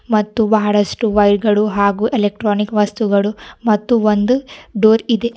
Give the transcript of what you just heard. ಮತ್ತು ಬಹಳಷ್ಟು ವೈರ್ ಗಳು ಹಾಗೂ ಎಲೆಕ್ಟ್ರಾನಿಕ್ ವಸ್ತುಗಳು ಮತ್ತು ಒಂದು ಡೋರ್ ಇದೆ.